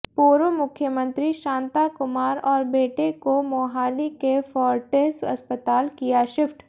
पूर्व मुख्यमंत्री शांता कुमार और बेटे को मोहाली के फोर्टिस अस्पताल किया शिफ्ट